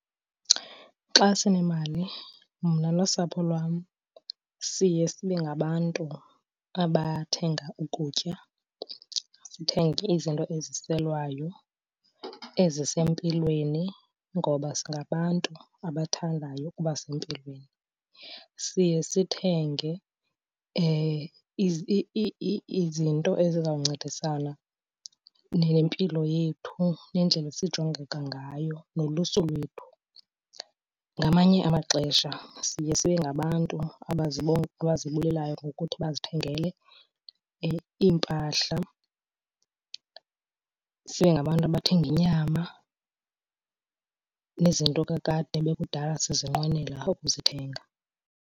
Xa sinemali, mna nosapho lwam siye sibe ngabantu abathenga ukutya, sithenge izinto eziselwayo ezisempilweni ngoba singabantu abathandayo ukuba sempilweni. Siye sithenge izinto ezizawuncedisana nempilo yethu nendlela esijongeka ngayo nolusu lwethu. Ngamanye amaxesha siye sibe ngabantu abazibulelayo ngokuthi bazithengele iimpahla, sibe ngabantu abathenga inyama nezinto kakade ebekudala sizinqwenela ukuzithenga.